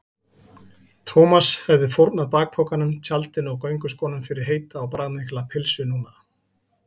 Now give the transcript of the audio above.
Thomas hefði fórnað bakpokanum, tjaldinu og gönguskónum fyrir heita og bragðmikla pylsu núna.